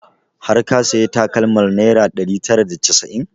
Har ka sayi takalmar naira ɗari tara da casa'in?